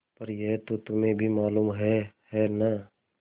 पर यह तो तुम्हें भी मालूम है है न